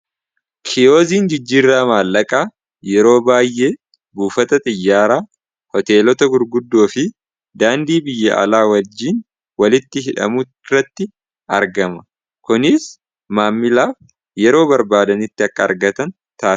Kiyoziin jijjiirraa maallaqaa yeroo baay'ee buufata xiyyaara hoteelota gurguddoo fi daandii biyya alaa wajjiin walitti hidhamu irratti argama kuniis maammilaaf yeroo barbaadanitti akka argatan tasisa.